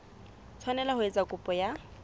tshwanela ho etsa kopo ya